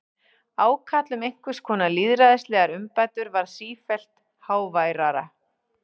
Ákall um einhvers konar lýðræðislegar umbætur varð sífellt háværara.